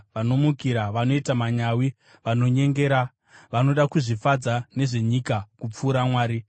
vanomukira, vanoita manyawi, vanonyengera, vanoda kuzvifadza nezvenyika kupfuura Mwari;